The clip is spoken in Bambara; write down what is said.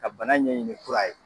Ka bana ɲɛɲini kura ye